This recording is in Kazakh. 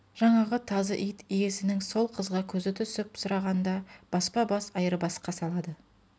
жаңағы тазы ит иесінің сол қызға көзі түсіп сұрағанда баспа-бас айырбасқа салады